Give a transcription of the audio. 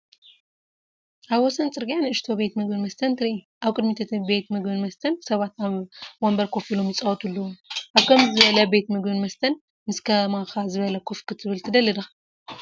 ኣብ ወሰን ጽርግያ ንእሽቶ ቤት ምግብን መስተን ትርኢ። ኣብ ቅድሚ እቲ ቤት ምግብን መስተን ሰባት ኣብ መንበር ኮፍ ኢሎም ይፃወቱ ኣለዉ። ኣብ ከምዚ ዝበለ ቤት ምግብን መስተን ምስ ከማካ ዝበለ ኮፍ ክትብል ትደሊ ዲኻ?